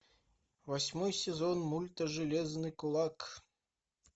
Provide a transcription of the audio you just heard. восьмой сезон мульта железный кулак